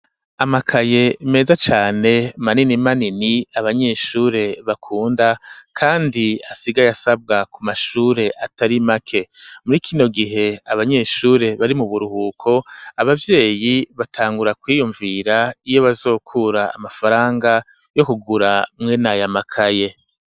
Amakaye meza cane manini manini, abanyeshure bakunda, kandi asigaye asabwa ku mashure atari make; muri kino gihe abanyeshure bari mu buruhuko, abavyeyi batangura kwiyumvira iyo bazokura amafaranga, yo kugura mwene aya makaye.